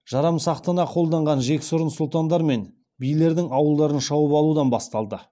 жарамсақтана қолдаған жексұрын сұлтандар мен билердің ауылдарын шауып алудан басталды